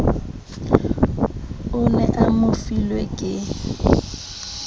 o ne a mofilwe ke